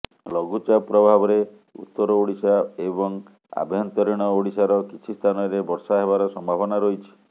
ଲଘୁଚାପ ପ୍ରଭାବରେ ଉତ୍ତର ଓଡିଶା ଏବଂ ଆଭ୍ୟନ୍ତରୀଣ ଓଡିଶାର କିଛି ସ୍ଥାନରେ ବର୍ଷା ହେବାର ସମ୍ଭାବନା ରହିଛି